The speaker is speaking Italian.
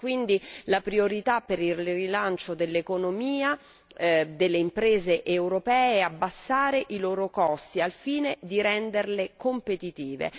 Quindi, la priorità per il rilancio dell'economia e delle imprese europee è abbassare i loro costi al fine di renderle competitive.